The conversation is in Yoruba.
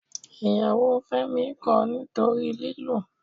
Ìyàwó Fẹ́mi kọ̀ ọ́ nítorí lílù